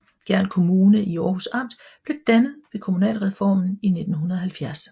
Gjern Kommune i Århus Amt blev dannet ved kommunalreformen i 1970